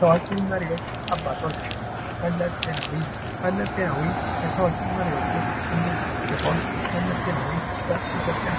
ታዋቂ መሪዎች አባቶች መለስ ዜናዊ መለስ ዜናዊ ከታዋቂ መሪዎች ውስጥ አንዱ ሲሆን መለስ ዜናዊ በኢትዮጵያ